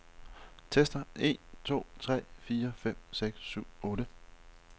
Tester en to tre fire fem seks syv otte.